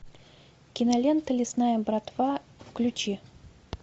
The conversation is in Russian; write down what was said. кинолента лесная братва включи